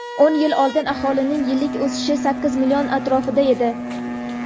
O‘n yil oldin aholining yillik o‘sishi sakkiz million atrofida edi.